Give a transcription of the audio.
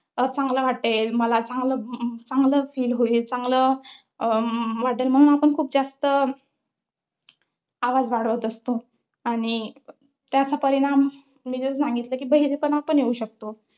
चांगला वाटेल, मला चांगलं~ चांगलं feel होईल. चांगलं अं वाटेल. म्हणून आपण खूप जास्त आवाज वाढवत असतो, आणि त्याचा परिणाम मी जो सांगितला कि, बहिरेपणा पण येऊ शकतो.